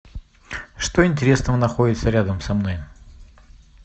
что интересного находится рядом со мной